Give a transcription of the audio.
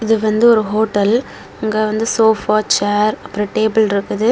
இது வந்து ஒரு ஹோட்டல் அங்க வந்து சோஃபா சேர் அப்பறம் டேபிள் இருக்குது.